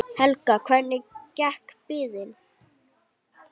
Helga: Hvernig gekk biðin?